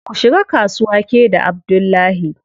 Ku shiga kasuwa ke da Abdullahi.